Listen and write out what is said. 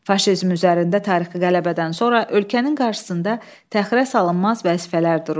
Faşizm üzərində tarixi qələbədən sonra ölkənin qarşısında təxirəsalınmaz vəzifələr dururdu.